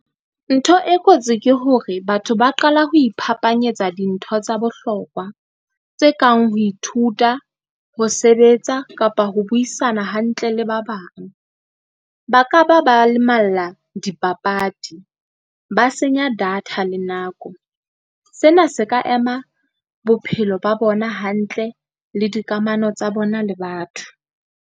Ntho e kotsi ke hore batho ba qala ho iphaphanyetsa dintho tsa bohlokwa tse kang ho ithuta, ho sebetsa kapa ho buisana hantle le ba bang. Ba ka ba ba lemalla dipapadi, ba senya data le nako. Sena se ka ema bophelo ba bona hantle le dikamano tsa bona le batho.